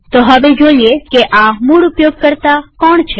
તો હવે જોઈએ કે આ મૂળ ઉપયોગકર્તા કોણ છે